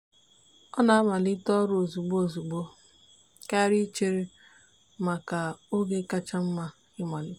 ọ na-amalite ọrụ ozugbo ozugbo karịa ichere maka oge kacha mma ịmalite.